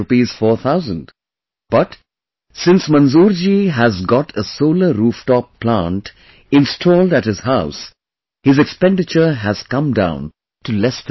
4 thousand, but, since Manzoorji has got a Solar Rooftop Plant installed at his house, his expenditure has come down to less than half